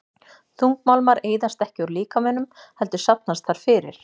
Þungmálmar eyðast ekki úr líkamanum heldur safnast þar fyrir.